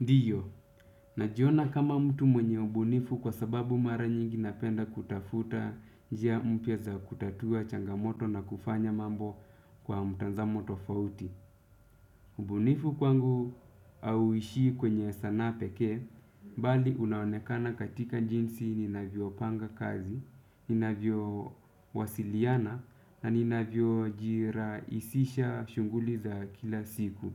Ndiyo, najiona kama mtu mwenye ubunifu kwa sababu mara nyingi napenda kutafuta jia mpya za kutatua changamoto na kufanya mambo kwa mtazamo tofauti. Ubunifu kwangu hauishii kwenye sana pekee, bali unaonekana katika jinsi ninavyo panga kazi, ninavyo wasiliana, na ninavyo jiraisisha shunguli za kila siku.